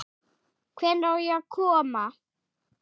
Hvenær á ég að koma?